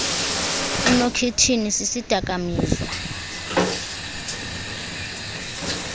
inokhithini sisidaka mizwa